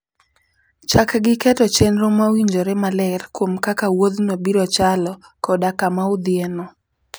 Chak gi keto chenro mawinjore maler kuom kaka wuodhno biro chalo koda kama udhiyeno.